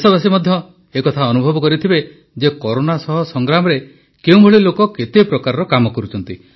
ଦେଶବାସୀ ମଧ୍ୟ ଏ କଥା ଅନୁଭବ କରିଥିବେ ଯେ କରୋନା ସହ ସଂଗ୍ରାମରେ କେଉଁ ଭଳି ଲୋକ କେତେ ପ୍ରକାର କାମ କରୁଛନ୍ତି